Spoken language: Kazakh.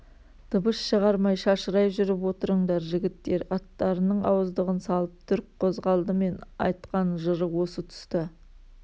дыбыс шығармай шашырай жүріп отырыңдар жігіттер аттарының ауыздығын салып дүрк қозғалды мен айтқан жыра осы тұста